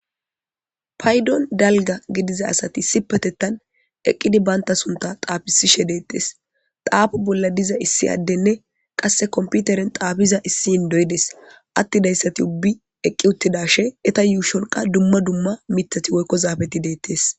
Paydon dalgga gidiza asati issipetetan eqqidi baynta sunta xaafisishe deettes. Xaafu bolla diza issi addenne qasse komputeren xaafiza issi inddoy des attidayssati ubbi eqqi uttidaashe eta yuushon qa dumma dumma mithati woykko zaafeti deettes.